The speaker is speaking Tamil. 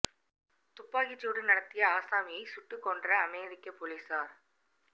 துப்பாக்கி சூடு நடத்திய ஆசாமியை சுட்டுக் கொன்ற அமெரிக்க பொலிஸார்